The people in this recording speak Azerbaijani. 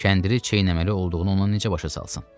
Kəndiri çeynəməli olduğunu ona necə başa salsın?